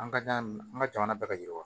An ka da nin an ka jamana bɛ ka yiriwa